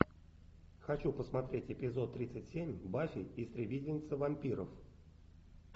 хочу посмотреть эпизод тридцать семь баффи истребительница вампиров